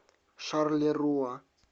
шарлеруа